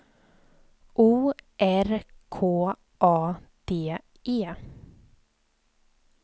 O R K A D E